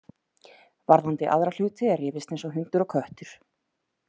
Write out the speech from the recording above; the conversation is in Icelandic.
Varðandi aðra hluti er rifist eins og hundur og köttur.